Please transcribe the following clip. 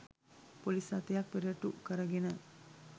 police රථයක් පෙරටු කරගෙන